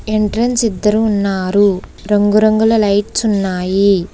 Entrance ఇద్దరు ఉన్నారు రంగురంగుల లైట్స్ ఉన్నాయి.